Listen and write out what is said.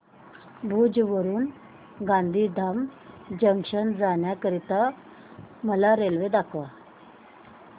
भुज वरून गांधीधाम जंक्शन जाण्या करीता मला रेल्वे दाखवा